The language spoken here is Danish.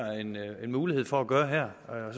en mulighed for at gøre her